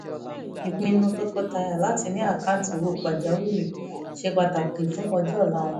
ìpinnu tọkọtaya láti ní àkáǹtì owó pàjáwìrì ṣe pàtàkì fún ọjọ́ ọ̀la wọn